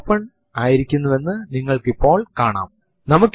ഇത് ഇപ്പോഴത്തെ വർഷത്തിന്റെ അവസാന രണ്ട് അക്കങ്ങൾ നൽകുന്നു